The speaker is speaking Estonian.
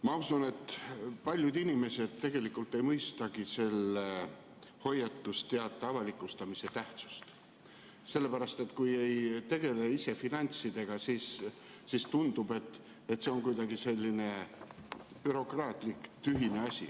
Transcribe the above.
Ma usun, et paljud inimesed tegelikult ei mõistagi selle hoiatusteate avalikustamise tähtsust, sellepärast et kui ise finantsasjadega ei tegele, siis tundub, et see on kuidagi selline bürokraatlik, tühine asi.